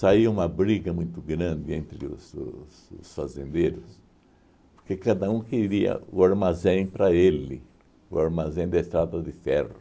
uma briga muito grande entre os os os fazendeiros, porque cada um queria o armazém para ele, o armazém da estrada de ferro.